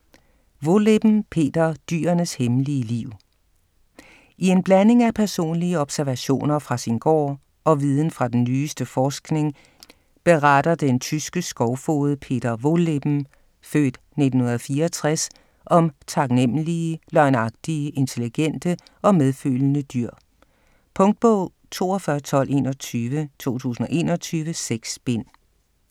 Wohlleben, Peter: Dyrenes hemmelige liv I en blanding af personlige observationer fra sin gård og viden fra den nyeste forskning, beretter den tyske skovfoged Peter Wohlleben (f. 1964) om taknemmelige, løgnagtige, intelligente og medfølende dyr. Punktbog 421221 2021. 6 bind.